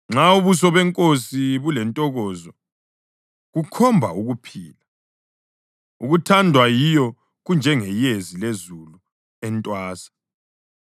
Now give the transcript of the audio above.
Nxa ubuso benkosi bulentokozo, kukhomba ukuphila; ukuthandwa yiyo kunjengeyezi lezulu entwasa.